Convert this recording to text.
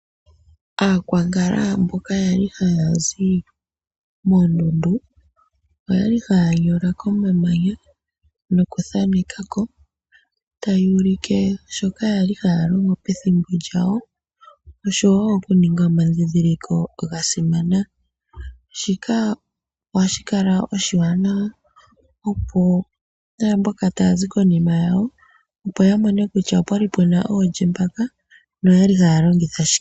Aakwankala mboka yali hayazi moondundu oyali haya nyola komamanya noku thanekako taya ulike shoka kwali haya longo pethimbo lyawo oshowo okuninga omadhidhiliko ga simana. Shika ohashikala oshiwanawa opo naamboka tayazi konima ya mone kutya opwali oolye noyali haya longitha shike.